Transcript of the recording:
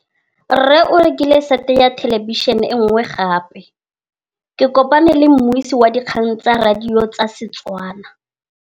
Rre o rekile sete ya thêlêbišênê e nngwe gape. Ke kopane mmuisi w dikgang tsa radio tsa Setswana.